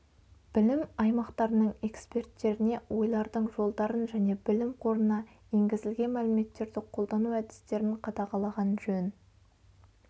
білім аймақтарының эксперттеріне ойлардың жолдарын және білім қорына енгізілген мәліметтерді қолдану әдістерін қадағалаған жөн